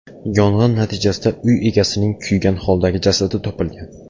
Yong‘in natijasida uy egasining kuygan holdagi jasadi topilgan.